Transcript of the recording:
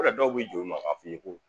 Yɔrɔ dɔw be jo i ma k'a f'i ye ko